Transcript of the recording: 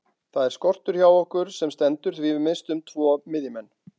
Það er skortur hjá okkur sem stendur því við misstum tvo miðjumenn.